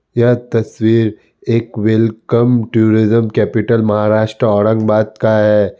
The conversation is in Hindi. यह तस्वीर एक welcome tourism capital Maharashtra Aurangabad का है ।